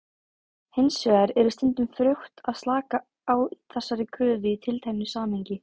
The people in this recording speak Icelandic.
Hins vegar er stundum frjótt að slaka á þessari kröfu í tilteknu samhengi.